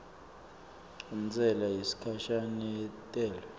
intsela yesikhashana yentelwe